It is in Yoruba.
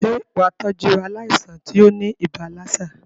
Sé wàá tọ́jú aláìsàn tí óní ibà lassa?